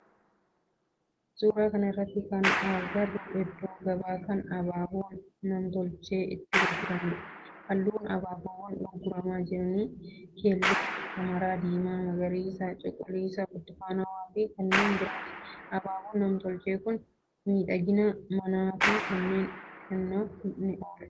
Suuraa kana irratti kana agarru iddoo gabaa kan abaaboon namtolchee itti gurguramudha. Halluun abaabowwaan gurgurama jiranii keelloo, hamara, diimaa, magariisa, cuquliisa, burtukaanawaa fi kanneen birooti. Abaaboon namtolchee kun miidhagina manaa fi kennaa kennuuf ni oola.